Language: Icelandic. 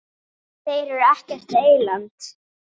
Þeir eru ekkert eyland.